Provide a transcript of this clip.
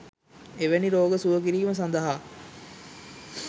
එවැනි රෝග සුව කිරීම සඳහා